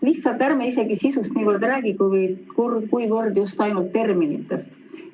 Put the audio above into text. Lihtsalt ärme räägi niivõrd sisust, kuivõrd veel kord terminitest.